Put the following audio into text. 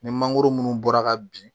Ni mangoro minnu bɔra ka bin